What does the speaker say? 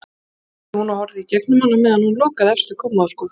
spurði hún og horfði í gegnum hann á meðan hún lokaði efstu kommóðuskúffunni.